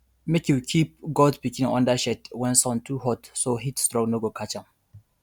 make you keep goat pikin under shade when sun too hot so heatstroke no go catch dem